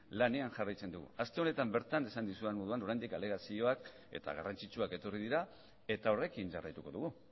lanean jarraitzen dugu aste honetan bertan esan dizuedan moduan oraindik alegazioak eta garrantzitsuak etorri dira eta horrekin jarraituko dugu